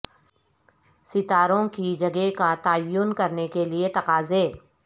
ستاروں کی جگہ کا تعین کرنے کے لئے تقاضے